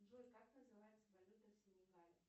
джой как называется валюта в синегале